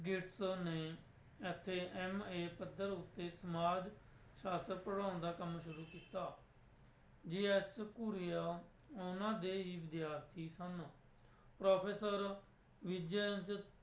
ਨੇ ਇੱਥੇ MA ਪੱਧਰ ਉੱਤੇ ਸਮਾਜ ਸ਼ਾਸਤਰ ਪੜ੍ਹਾਉਣ ਦਾ ਕੰਮ ਸ਼ੁਰੂ ਕੀਤਾ ਉਹਨਾਂ ਦੇ ਹੀ ਵਿਦਿਆਰਥੀ ਸਨ ਪ੍ਰੋਫੈਸਰ